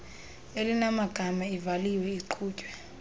elinamagama ivaliwe iqhutywe